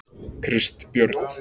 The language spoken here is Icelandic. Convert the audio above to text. Kristbjörn